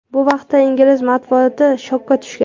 Bu vaqtda ingliz matbuoti shokka tushgan.